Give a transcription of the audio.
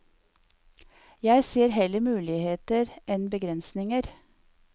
Jeg ser heller muligheter enn begrensninger.